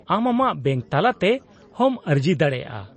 -ᱟᱢ ᱟᱢᱟᱜ ᱵᱮᱝᱠ ᱛᱟᱞᱟᱛᱮ ᱦᱚᱸᱢ ᱟᱹᱨᱡᱤ ᱫᱟᱲᱮᱭᱟᱜᱼᱟ ᱾